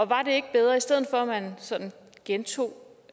var det ikke bedre i stedet for at man sådan gentog